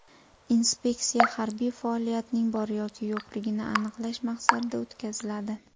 Inspeksiya harbiy faoliyatning bor yoki yo‘qligini aniqlash maqsadida o‘tkaziladi.